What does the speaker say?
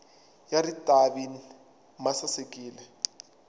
ya ritavi ma sasekile